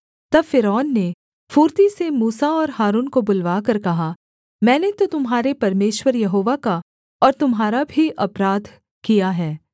तब फ़िरौन ने फुर्ती से मूसा और हारून को बुलवाकर कहा मैंने तो तुम्हारे परमेश्वर यहोवा का और तुम्हारा भी अपराध किया है